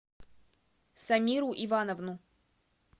самиру ивановну